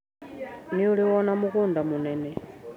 Nĩũrĩ wona mũgũnda mũnene.